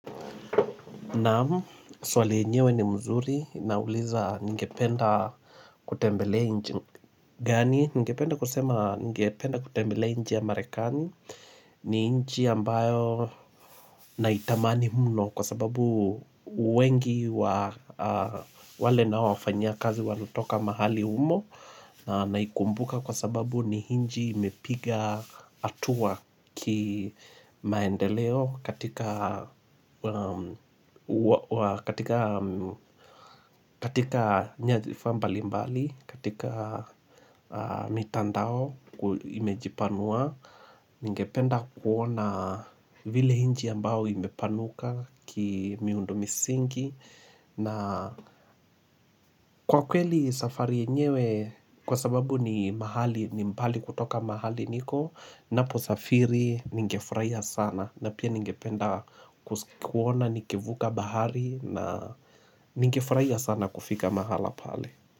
Naamu, swali yenyewe ni mzuri na uliza ningependa kutembelea nchi gani, ningependa kusema ningependa kutembelea ya merekani ni nchi ambayo naitamani mno kwa sababu wengi wale na wafanya kazi wanotoka mahali humo na ikumbuka kwa sababu ni nchi imepiga hatua kimaendeleo katika katika nyadhifa mbali mbali, katika mitandao imejipanua Ningependa kuona vile nchi ambao imepanuka kimiundu misingi na kwa kweli safari yenyewe kwa sababu ni mahali ni mbali kutoka mahali niko Ninaposafiri nigefurahia sana na pia nigependa kuona nikivuka bahari na nigefurahia sana kufika mahala pale.